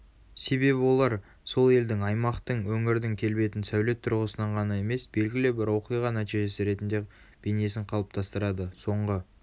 себебі олар сол елдің аймақтың өңірдің келбетін сәулет тұрғысынан ғана емес белгілі бір оқиға нәтижесі ретінде бейнесін қалыптастырады.соңғы